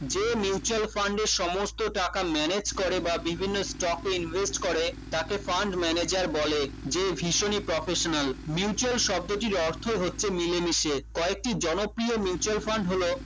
যে mutual fund এর সমস্ত টাকা manage করে বা বিভিন্ন stock invest করে তাকে fund manager বলে যে ভীষণই professional mutual শব্দটির অর্থ হচ্ছে মিলেমিশে কয়েকটি জনপ্রিয় mutual fund হলো